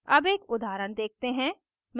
अब एक उदाहरण देखते हैं